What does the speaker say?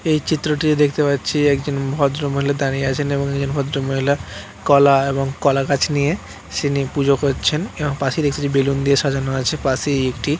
এই চিত্রটি দেখতে পাচ্ছি একজন ভদ্রমহলে দাঁড়িয়ে আছেন | এবং নিজের ভদ্র মহিলা কলা এবং কলা গাছ নিয়ে এসে নিয়ে পুজো করছেন | এবং পাশের একটি বেলুন দিয়ে সাজানো আছে | পাশে একটি--